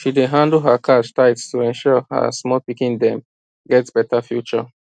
she dey handle her cash tight to ensure her small pikin dem get better future